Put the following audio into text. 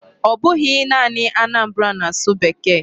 Ọ bụghị naanị Anambra na-asụ Bekee.